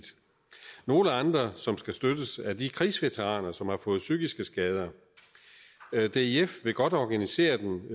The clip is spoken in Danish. nogle andre som skal støttes at de krigsveteraner som har fået psykiske skader dif vil godt organisere dem